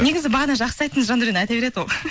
негізі бағана жақсы айттыңыз жандаурен айта береді ол